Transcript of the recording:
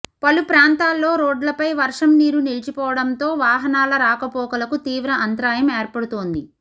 పలు ప్రాంతాల్లో రోడ్లపై వర్షం నీరు నిలిచిపోవడంతో వాహనాల రాకపోకలకు తీవ్ర అంతరాయం ఏర్పడుతోంది